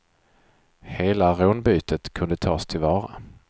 Hela rånbytet kunde tas till vara.